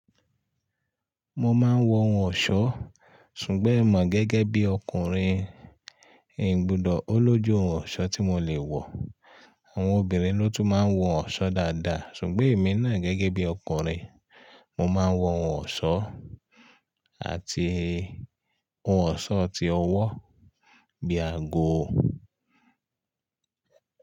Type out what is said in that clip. Mo máa ń wọ ohun ọ̀ṣọ́, ṣùgbọ́n èmoo gẹ́gẹ́ bí ọkùnrin ì bùdó, ó lójú ohun ọ̀ṣọ́ tí mo lè wọ̀. Àwọn obìnrin ló tún máa ń wọ ohun ọ̀ṣọ́ dáadáa, ṣùgbọ́n èmi náà gẹ́gẹ́ bí ọkùnrin, mo máa ń wọ ohun ọ̀ṣọ́ àti ohun ọ̀ṣọ́ tí ó wọ́ bí àgò.